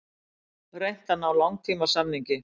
Reynt að ná langtímasamningi